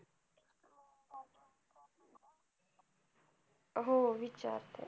हो विचारते